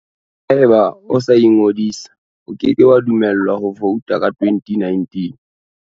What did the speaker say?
Haeba o sa ingodisa, o ke ke wa dumellwa ho vouta ka 2019.